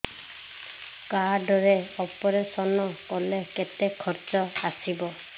card ରେ operation କଲେ କେତେ ଖର୍ଚ ଆସିବ